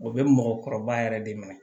O bɛ mɔgɔkɔrɔba yɛrɛ de minɛ